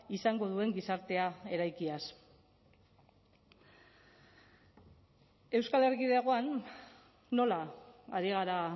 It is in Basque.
izango duen gizartea eraikiaz euskal erkidegoan nola ari gara